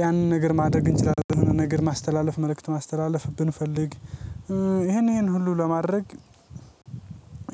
ያንን ነገር ማድረግ እንችላለን። የሆነ ነገር ማስተላለፍ መልእክት ማስተላለፍ ብንፈልግ ይሄን ይሄን ሁሉ ለማድረግ